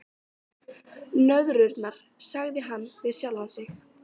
Nöðrurnar, sagði hann við sjálfan sig.